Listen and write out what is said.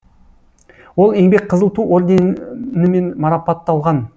ол еңбек қызыл ту орденімен марапатталған